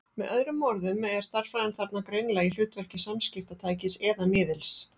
Með öðrum orðum er stærðfræðin þarna greinilega í hlutverki samskiptatækis eða-miðils.